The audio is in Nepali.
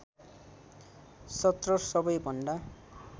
१७ सबैभन्दा